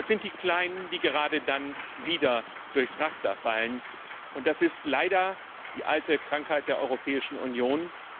Aber es sind die Kleinen, die gerade dann wieder durchs Raster fallen, und das ist leider die alte Krankheit der Europäischen Union.